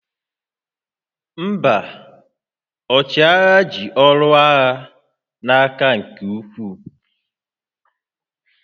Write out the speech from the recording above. Mba, ọchịagha ji ọrụ agha n'aka nke ukwuu